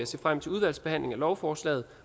se frem til udvalgsbehandlingen af lovforslaget